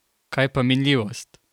Kaj pa minljivost?